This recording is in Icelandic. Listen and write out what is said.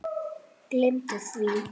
Gleymdu því!